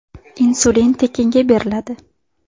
Insulin tekinga beriladi.